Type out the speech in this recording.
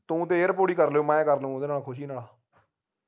ਤੂੰ ਤੇ ਇਹ ਕਰ ਲਿਓ ਮੈਂ ਕਰਲੂੰਗਾ ਓਹਦੇ ਨਾਲ ਖੁਸ਼ੀ ਨਾਲ